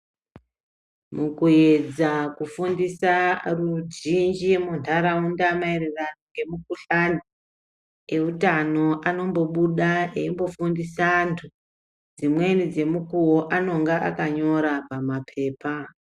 Mukuedza kufundisa ruzhinji muntaraunda maererano ngemukhuhlani, eutano anombobuda eimbofundisa antu, dzimweni dzemukuwo anonga akanyora pamaphepha.